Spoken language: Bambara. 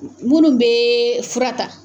Minnu bɛ fura ta